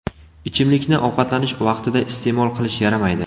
Ichimlikni ovqatlanish vaqtida iste’mol qilish yaramaydi.